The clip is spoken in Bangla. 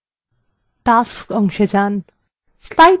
tasks অংশে pane